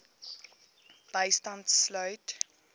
bystand sluit